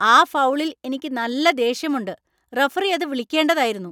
ആ ഫൗളിൽ എനിക്ക് നല്ല ദേഷ്യമുണ്ട്! റഫറി അത് വിളിക്കേണ്ടതായിരുന്നു.